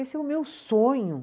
Esse é o meu sonho.